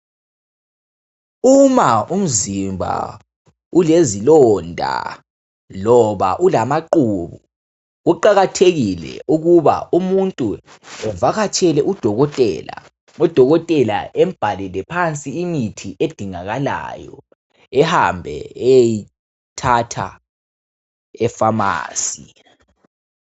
Uma umzimba ulezilonda loba ulamaqubu kuqakathekile ukuba umuntu evakatshele udokotela. Udokotela embhalele phansi imithi edingakalayo ehambe eyeyithatha efamasi.